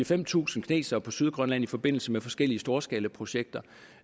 fem tusind kinesere på sydgrønland i forbindelse med forskellige storskalaprojekter